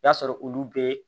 I y'a sɔrɔ olu bɛɛ